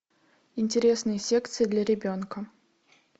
интересные секции для ребенка